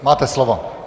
Máte slovo.